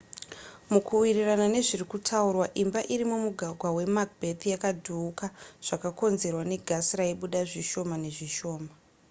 mukuwirirana nezviri kutaurwa imba iri mumugwagwa wemacbeth yakadhuuka zvakakonzerwa negasi raibuda zvishona nezvishoma